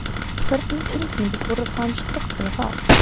Hvernig tilfinningar fóru um skrokkinn þá?